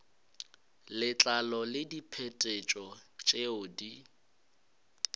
letlalo le diphetetšo tšeo di